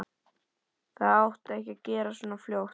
Það átti ekki að gerast svona fljótt.